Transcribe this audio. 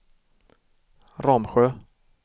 Ramsjö